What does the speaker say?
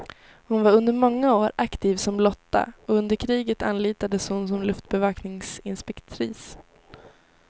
Hon var under många år aktiv som lotta och under kriget anlitades hon som luftbevakningsinspektris.